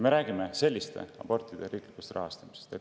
Me räägime selliste abortide riiklikust rahastamisest.